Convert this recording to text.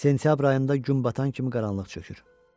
Sentyabr ayında gün batan kimi qaranlıq çökür.